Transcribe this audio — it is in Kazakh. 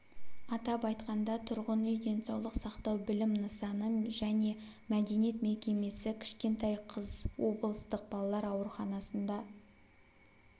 атап айтқанда тұрғын үй денсаулық сақтау білім нысаны және мәдениет мекемесі кішкентай қыз облыстық балалар ауруханасында